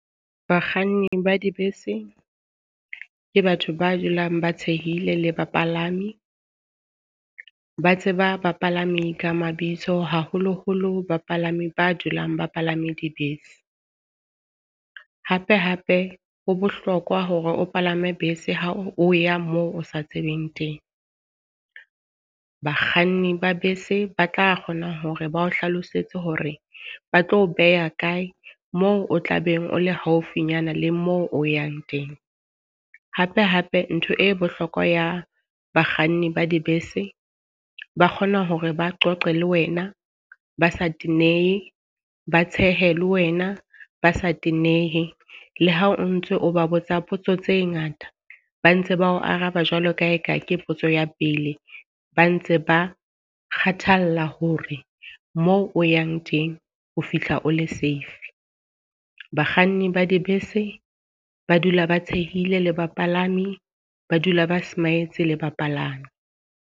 Bakganni ba dibese ke batho ba dulang ba tshehile le bapalami, ba tseba bapalami ka mabitso haholoholo bapalami ba dulang ba palame dibese. Hape hape ho bohlokwa hore o palame bese ha o ya moo o sa tsebeng teng. Bakganni ba bese ba tla kgona hore ba o hlalosetse hore ba tlo beha kae moo o tla beng o le haufinyana le mo o yang teng. Hape hape ntho e bohlokwa ya bakganni ba dibese, ba kgona hore ba qoqe le wena ba sa tenehe, ba tshehe le wena ba sa tenehe. Le ha o ntso o ba botsa potso tse ngata, ba ntse ba o araba jwalo ka ha e ka ke potso ya pele. Ba ntse ba kgathalla hore moo o yang teng o fihla o le save. Bakganni ba dibese ba dula ba tshohile le bapalami, ba dula ba smile-tse le bapalami.